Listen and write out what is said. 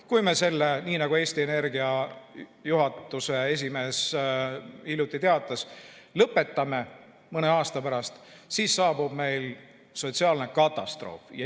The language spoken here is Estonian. Kui me selle, nii nagu Eesti Energia juhatuse esimees hiljuti teatas, mõne aasta pärast lõpetame, siis saabub meil sotsiaalne katastroof.